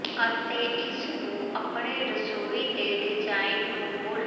ਅਤੇ ਇਸ ਨੂੰ ਆਪਣੇ ਰਸੋਈ ਦੇ ਡਿਜ਼ਾਇਨ ਨੂੰ ਮੁੜ